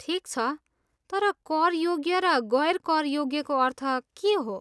ठिक छ, तर करयोग्य र गैर करयोग्यको अर्थ के हो?